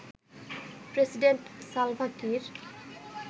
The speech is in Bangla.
president Salva Kiir